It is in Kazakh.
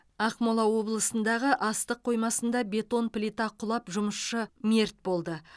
ақмола облысындағы астық қоймасында бетон плита құлап жұмысшы мерт болды